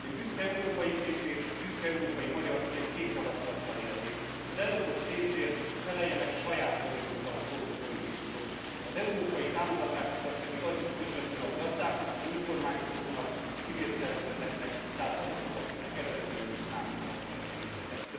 Én büszke európaiként és büszke európai magyarként két javaslattal élnék az ellopott pénzért feleljenek saját vagyonukkal a korrupt politikusok, az európai támogatásokat pedig adjuk közvetlenül a gazdáknak, az önkormányzatoknak, a civil szervezeteknek, tehát azoknak, akiknek eredetileg is szántuk ezeket a pénzeket.